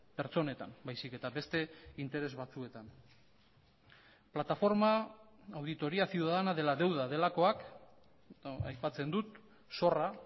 pertsonetan baizik eta beste interes batzuetan plataforma auditoría ciudadana de la deuda delakoak aipatzen dut zorra